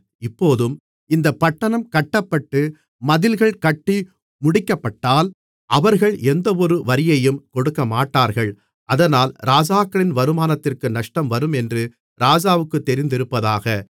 இப்போதும் இந்தப் பட்டணம் கட்டப்பட்டு மதில்கள் கட்டி முடிக்கப்பட்டால் அவர்கள் எந்தவொரு வரியையும் கொடுக்கமாட்டார்கள் அதனால் ராஜாக்களின் வருமானத்திற்கு நஷ்டம் வரும் என்று ராஜாவுக்குத் தெரிந்திருப்பதாக